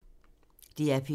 DR P2